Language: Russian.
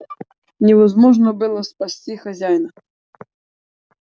невозможно было спасти хозяина